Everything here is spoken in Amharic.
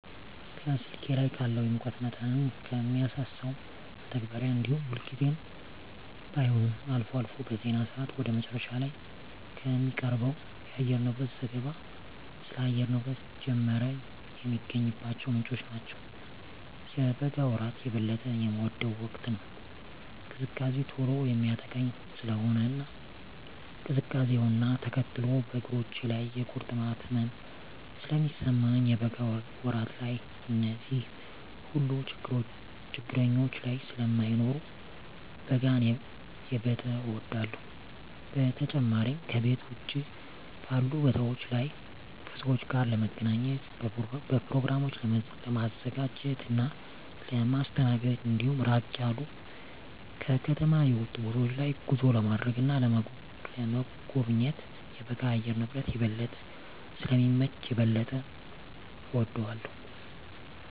ከስልኬ ላይ ካለው የሙቀት መጠንን ከሚያሳሰው መተግበሪያ እንዲሁም ሁልጊዜም ባይሆን አልፎ አልፎ በዜና ሰአት ወደ መጨረሻ ላይ ከሚቀርበው የአየርንብረት ዘገባ ስለ አየር ንብረት ጀመረ የሚገኝባቸው ምንጮች ናቸው። የበጋ ወራት የበለጠ የምወደው ወቅት ነው። ቅዝቃዜ ቶሎ የሚያጠቃኝ ስለሆነ እና ቅዝቃዜውነ ተከትሎ በእግሮቼ ላይ የቁርጥማት ህመም ስለሚሰማኝ የበጋ ወራት ላይ እነዚህ ሁሉ ችግረኞች ስለማይኖሩ በጋን የበጠ እወዳለሁ። በተጨማሪም ከቤት ውጭ ባሉ ቦታወች ላይ ከሰወች ጋር ለመገናኘት፣ በኘሮግራሞችን ለማዘጋጀት እና ለማስተናገድ እንዲሁም ራቅ ያሉ ከከተማ የወጡ ቦታወች ላይ ጉዞ ለማድረግ እና ለመጎብኘት የበጋ የአየር ንብረት የበለጠ ስለሚመች የበለጠ እወደዋለሁ።